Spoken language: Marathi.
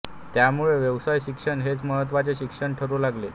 त्यामुळे व्यवसाय शिक्षण हेच महत्त्वाचे शिक्षण ठरू लागले